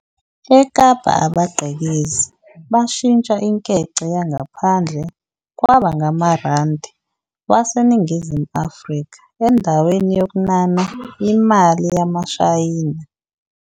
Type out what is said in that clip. eKapa, abagqekezi bashintsha inkece yangaphandle kwaba ngamaRandi waseNingizimu Afrika endaweni yokuNana imali yamaShayina.